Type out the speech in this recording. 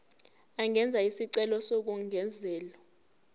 angenza isicelo sokungezelelwa